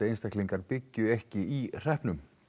einstaklingar byggju ekki í hreppnum